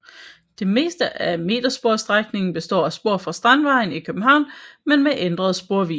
Det meste af metersporsstrækningen består af spor fra Strandvejen i København men med ændret sporvidde